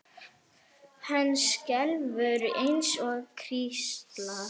Hann skelfur eins og hrísla.